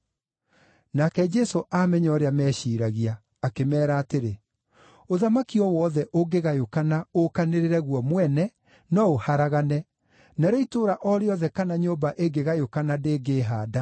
Nake Jesũ aamenya ũrĩa meciiragia, akĩmeera atĩrĩ, “Ũthamaki o wothe ũngĩgayũkana ũũkanĩrĩre guo mwene no ũharagane, narĩo itũũra o rĩothe kana nyũmba ĩngĩgayũkana ndĩngĩĩhaanda.